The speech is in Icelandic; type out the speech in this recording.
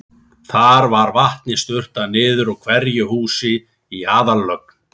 Þar var vatni sturtað niður úr hverju húsi í aðallögn.